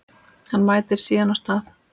Hann mætir síðan á stað